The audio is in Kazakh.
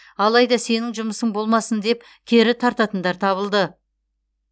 алайда сенің жұмысың болмасын деп кері тартатындар табылды